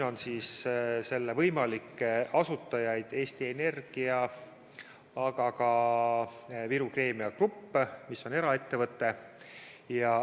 Selle võimalik asutaja on Eesti Energia, aga ka Viru Keemia Grupp, mis on eraettevõte.